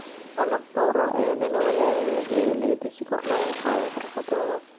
Qalab dhowr ah ayaa lala wadaagayaa beeralayda si kor loogu qaado xirfadahooda.